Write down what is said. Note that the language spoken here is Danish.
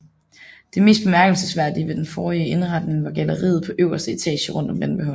Det mest bemærkelsesværdige ved den forrige indretning var galleriet på øverste etage rundt om vandbeholderen